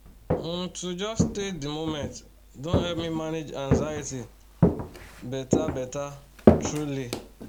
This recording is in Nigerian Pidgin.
um to just stay the moment don help me manage anxiety better better truely